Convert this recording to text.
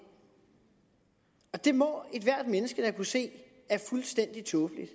det må ethvert menneske da kunne se er fuldstændig tåbeligt